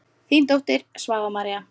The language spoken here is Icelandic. Þín dóttir, Svava María.